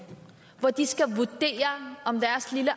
hvor de skal vurdere om deres lille